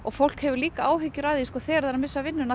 fólk hefur líka áhyggjur af því þegar það er að missa vinnuna